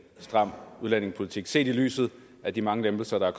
stram udlændingepolitik set lyset af de mange lempelser der er